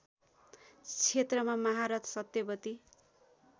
क्षेत्रमा महारथ सत्यवती